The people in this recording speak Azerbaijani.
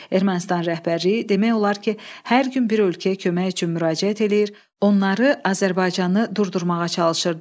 Ermənistan rəhbərliyi demək olar ki, hər gün bir ölkəyə kömək üçün müraciət eləyir, onları Azərbaycanı durdurmağa çalışırdı.